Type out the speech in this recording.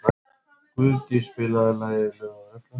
Guðdís, spilaðu lagið „Lög og regla“.